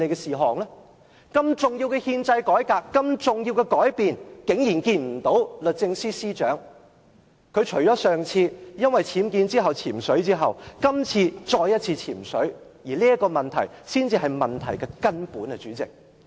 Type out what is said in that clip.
如此重要的憲制改變，律政司司長竟然沒有出席，她在迴避僭建問題而"潛水"後，今次再次"潛水"，這才是問題的根本，主席。